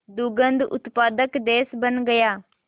दुग्ध उत्पादक देश बन गया